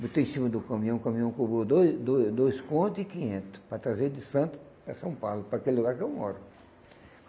Botei em cima do caminhão, o caminhão cobrou dois dois dois contos e quinhento para trazer de Santos para São Paulo, para aquele lugar que eu moro.